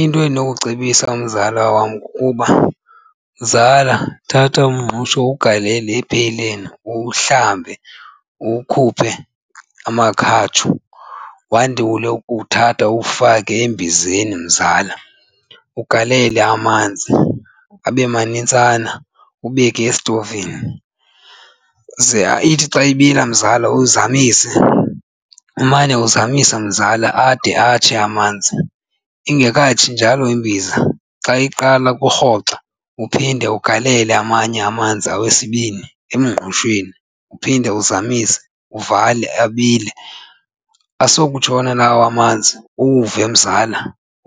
Into endinokucebisa umzala wam kukuba, mzala, thatha umngqusho uwugalele epheyleni uwuhlambe, uwukhuphe amakhatshu. Wandule ukuthatha uwufake embizeni mzala. Ugalele amanzi abe manintsana ubeke esitovini ze ithi xa ibila mzala uzamise, umane uzamisa mzala ade atshe amanzi. Ingekatshi njalo imbiza xa iqala ukurhoxa, uphinde ugalele amanye amanzi okwesibini emngqushweni uphinde uzamise, uvale abile. Asokutshona lawo amanzi uwuve mzala,